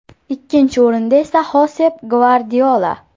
Ikkinchi o‘rinda esa Xosep Gvardiola.